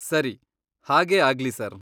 ಸರಿ, ಹಾಗೇ ಆಗ್ಲಿ ಸರ್.